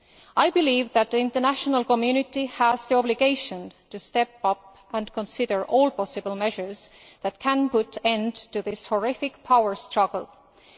I believe that the international community has the obligation to step up and consider all possible measures that can put an end to this horrific power struggle.